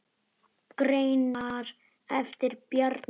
Greinar eftir Bjarna